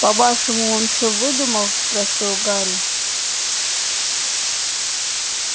по-вашему он всё выдумал спросил гарри